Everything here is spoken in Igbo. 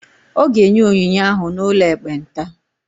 Ọ ga-enye onyinye ahụ n'ụlọ ekpenta.